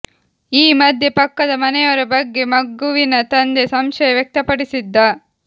ಈ ಮಧ್ಯೆ ಪಕ್ಕದ ಮನೆಯವರ ಬಗ್ಗೆ ಮಗುವಿನ ತಂದೆ ಸಂಶಯ ವ್ಯಕ್ತಪಡಿಸಿದ್ದ